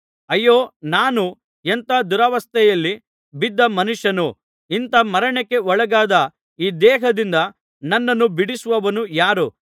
ಅಯ್ಯೋ ನಾನು ಎಂಥ ದುರವಸ್ಥೆಯಲ್ಲಿ ಬಿದ್ದ ಮನುಷ್ಯನು ಇಂಥ ಮರಣಕ್ಕೆ ಒಳಗಾದ ಈ ದೇಹದಿಂದ ನನ್ನನ್ನು ಬಿಡಿಸುವವನು ಯಾರು